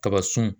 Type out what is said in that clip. Kaba sun